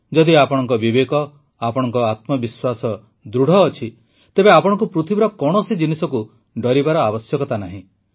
ଯଦି ଆପଣଙ୍କ ବିବେକ ଆପଣଙ୍କ ଆତ୍ମବିଶ୍ୱାସ ଦୃଢ଼ ଅଛି ତେବେ ଆପଣଙ୍କୁ ପୃଥିବୀର କୌଣସି ଜିନିଷକୁ ଡରିବାର ଆବଶ୍ୟକତା ନାହିଁ